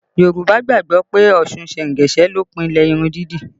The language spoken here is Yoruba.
Yorùbá gbàgbọ́ pé Ọ̀ṣun sengese ló pilẹ̀ irun dídì